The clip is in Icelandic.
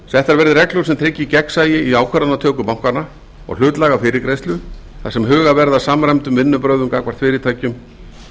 settar verði reglur sem tryggja gegnsæi í ákvörðunartöku bankanna og hlutlæga fyrirgreiðslu þar sem huga verði að samræmdum vinnubrögðum gagnvart fyrirtækjum